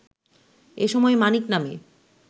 এসময় মানিক নামে